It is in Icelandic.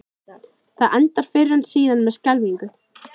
Það endar fyrr eða síðar með skelfingu.